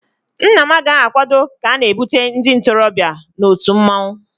Nna m agaghị akwado ka a na-ebute ndị ntorobịa na otu mmanwụ